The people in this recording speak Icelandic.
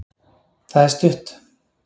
það er stutt